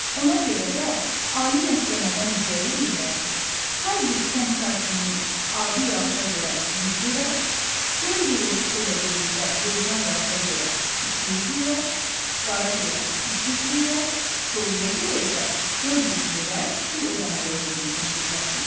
Ona görə də ali məhkəmədən ricə eləyirlər ki, hər bir kənd sakininin adi yağışa görə 100 lirə, göy gurultusu ilə birlikdə leysan yağışa görə 200 lirə, qara görə 300 lirə, doluya görə isə 400 lirə pul ödəməli olduğunu təsdiqləsin.